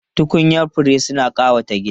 Tukunyan fure suna ƙawata gida.